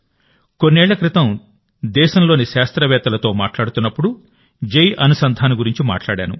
కొన్నేళ్ల క్రితం దేశంలోని శాస్త్రవేత్తలతో మాట్లాడుతున్నప్పుడు జై అనుసంధాన్ గురించి మాట్లాడాను